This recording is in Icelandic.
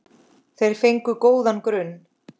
Þeir fengu góðan grunn.